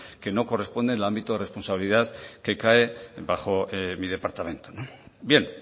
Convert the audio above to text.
que no corresponden al ámbito responsabilidad que cae bajo mi departamento bien